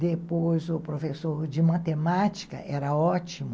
Depois o professor de matemática era ótimo.